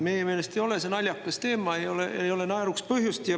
Meie meelest ei ole see naljakas teema, naeruks ei ole põhjust.